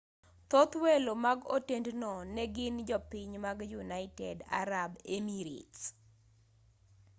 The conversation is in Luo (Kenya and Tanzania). thoth welo mag otendno ne gin jopiny mag united arab emirates